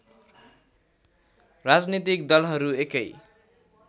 राजनीतिक दलहरू एकै